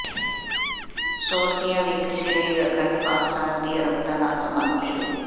ਸੋਲਖੀਆਂ ਵਿਖੇ ਸ਼੍ਰੀ ਅਖੰਡ ਪਾਠ ਸਾਹਿਬ ਦੀ ਅਰੰਭਤਾ ਨਾਲ ਸਮਾਗਮ ਸ਼ੁਰੂ